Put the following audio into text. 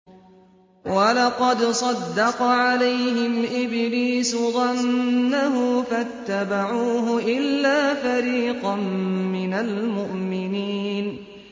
وَلَقَدْ صَدَّقَ عَلَيْهِمْ إِبْلِيسُ ظَنَّهُ فَاتَّبَعُوهُ إِلَّا فَرِيقًا مِّنَ الْمُؤْمِنِينَ